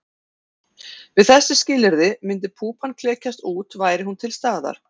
Við þessi skilyrði myndi púpan klekjast út væri hún til staðar.